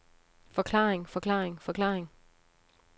forklaring forklaring forklaring